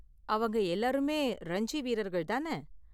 அவங்க எல்லோருமே ரஞ்சி வீரர்கள் தான?